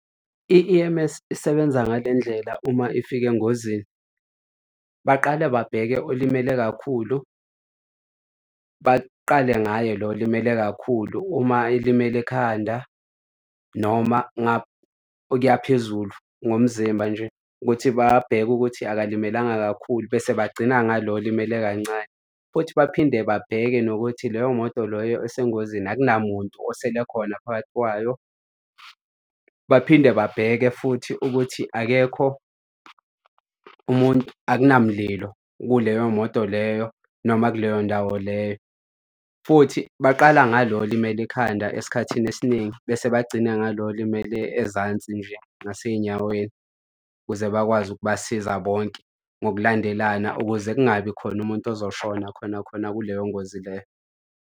I-E_M_S isebenza ngale ndlela uma ifika engozini. Baqale babheke olimele kakhulu, baqale ngaye lo olimele kakhulu uma elimele ekhanda noma okuya phezulu ngomzimba nje, ukuthi babheke ukuthi akalimelanga kakhulu bese bagcina ngalo olimele kancane. Futhi baphinde babheke nokuthi leyo moto loyo esengozini akunamuntu osele khona phakathi kwayo. Baphinde babheke futhi ukuthi akekho umuntu akunamlilo kuleyo moto leyo noma kuleyo ndawo leyo. Futhi baqala ngalo olimele ikhanda esikhathini esiningi bese bagcine ngalo olimele ezansi nje ngasey'nyaweni ukuze bakwazi ukubasiza bonke ngokulandelana ukuze kungabi khona umuntu ozoshona khona khona kuleyo ngozi leyo.